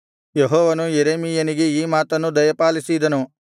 ಯೆಹೋವನು ಯೆರೆಮೀಯನಿಗೆ ಈ ಮಾತನ್ನು ದಯಪಾಲಿಸಿದನು